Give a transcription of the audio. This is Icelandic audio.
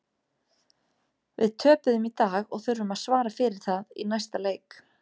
Við töpuðum í dag og þurfum að svara fyrir það í næsta leik.